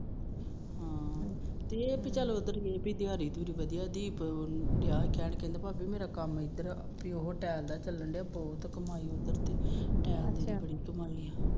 ਹਮ ਇਹ ਪੀ ਉਧਰ ਦਿਹਾੜੀ ਦਿਹੁੜੀ ਵਦੀਆਂ ਪੀ ਦੀਪ ਕਹਿੰਦਾ ਭਾਬੀ ਮੇਰਾ ਕੰਮ ਇਧਰ ਟੈਲ ਦਾ ਚੰਲਣ ਡਿਆ ਬਹੁਤ ਕਮਾਈ ਅੱਛਾ